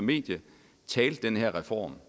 medie talte den her reform